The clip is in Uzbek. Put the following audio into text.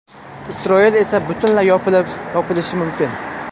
Isroil esa butunlay yopilishi mumkin.